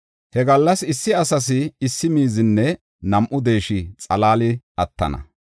He gallas issi asas issi miizinne nam7u deesha xalaali attana.